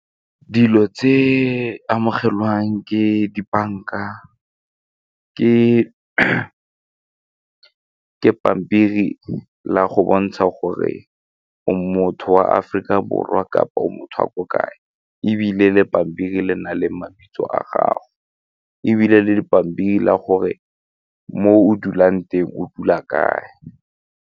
Dilo tse amogelwang ke dibanka ke pampiri la go bontsha gore o motho wa Aforika Borwa kapa o motho wa ko kae ebile le pampiri le na le mabitso a gago ebile le dipampiri la gore mo o dulang teng o dula kae.